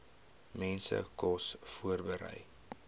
mense kos voorberei